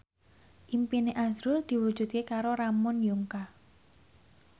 impine azrul diwujudke karo Ramon Yungka